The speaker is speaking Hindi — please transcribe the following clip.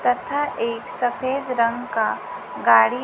तथा एक सफेद रंग का गाड़ी--